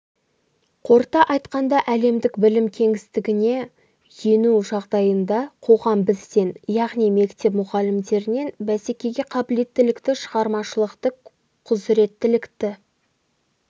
қорыта айтқанда әлемдік білім кеңістігіне ену жағдайында қоғам бізден яғни мектеп мұғалімдерінен бәсекеге қабілеттілікті шығармашылықты құзіреттілікті